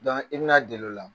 ba ii bɛna deli o la